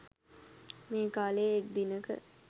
මේ කාලයේ එක් දිනක